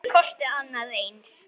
Það kosti annað eins.